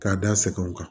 K'a da sɛgɛnw kan